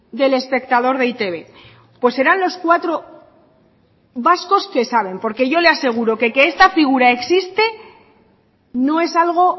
del espectador de e i te be pues serán los cuatro vascos que saben porque yo le aseguro qué que esta figura existe no es algo